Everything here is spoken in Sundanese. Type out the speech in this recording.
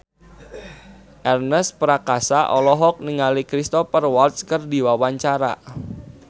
Ernest Prakasa olohok ningali Cristhoper Waltz keur diwawancara